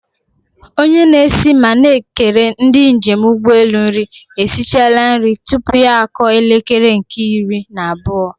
Onye na-esi ma na-ekere ndị njem ụgbọelu nri esichala nri tupu ya akụọ elekere nke iri na abụọ.